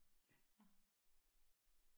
Ja